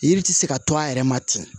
Yiri tɛ se ka to a yɛrɛ ma ten